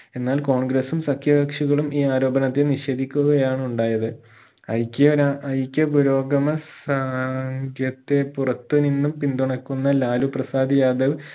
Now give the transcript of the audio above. എന്നാൽ കോൺഗ്രസ്സും സഖ്യ കക്ഷികളും ഈ ആരോപണത്തെ നിഷേധിക്കുകയാണ് ഉണ്ടായത് ഐക്യര ഐക്യ പുരോഗമ സഖ്യത്തെ പുറത്തു നിന്നും പിന്തുണക്കുന്ന ലാലു പ്രസാദ് യാദവ്